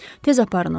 Tez aparın onu.